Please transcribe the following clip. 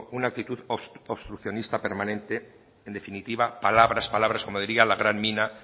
una actitud obstruccionista permanente en definitiva palabras palabras como diría la gran mina